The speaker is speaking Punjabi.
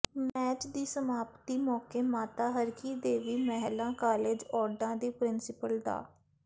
ਮੈਚ ਦੀ ਸਮਾਪਤੀ ਮੌਕੇ ਮਾਤਾ ਹਰਕੀ ਦੇਵੀ ਮਹਿਲਾ ਕਾਲਜ ਔਢਾਂ ਦੀ ਪ੍ਰਿੰਸੀਪਲ ਡਾ